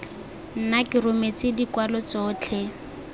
nna ke rometse dikwalo tsotlhe